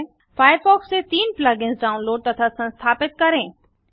Firefox से तीन plug ins download तथा संस्थापित करें